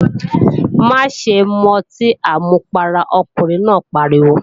Má ṣe mu ọtí àmupara, ọkùnrin náà pariwo!